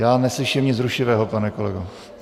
Já neslyším nic rušivého, pane kolego.